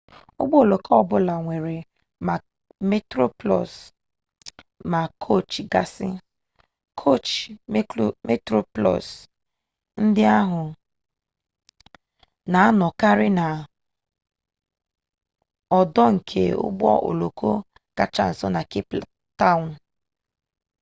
ụgbọ oloko ọ bụla nwere ma metroplus ma koochi gasị koochi metroplus ndị ahụ na-anọkarị n'ọdụ nke ụgbọ oloko kacha nso na cape town